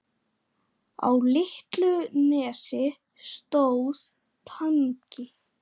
Á litlu nesi stóð Tangi.